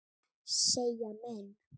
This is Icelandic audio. segja menn.